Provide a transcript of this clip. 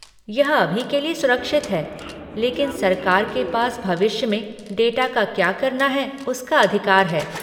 यह अभी के लिए सुरक्षित है, लेकिन सरकार के पास भविष्य में डाटा का क्या करना है उसका अधिकार है।